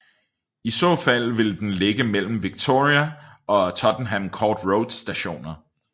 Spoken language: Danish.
I så fald vil den ligge mellem Victoria og Tottenham Court Road Stationer